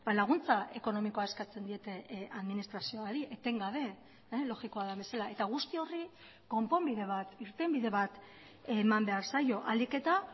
laguntza ekonomikoa eskatzen diete administrazioari etengabe logikoa den bezala eta guzti horri konponbide bat irtenbide bat eman behar zaio ahalik eta